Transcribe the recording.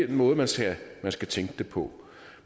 den måde man skal skal tænke det på